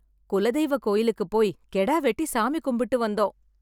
குலதெய்வ கோவிலுக்கு போய் கெடா வெட்டி சாமி கும்பிட்டு வந்தோம்.